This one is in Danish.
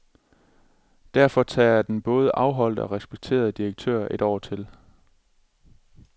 Derfor tager den både afholdte og respekterede direktør et år til.